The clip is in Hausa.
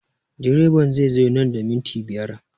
Direban zai zo nan da minti biyar